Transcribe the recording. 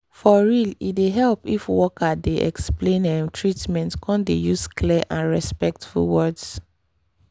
for real e dey help if worker dey explain ehh treatment come dey use clear and respectful words